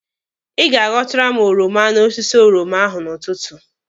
Ị ga aghọtara m oroma n'osisi oroma ahụ n'ụtụtụ.